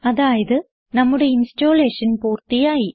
അതായത് നമ്മുടെ ഇൻസ്റ്റലേഷൻ പൂർത്തിയായി